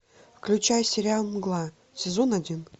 включай сериал мгла сезон один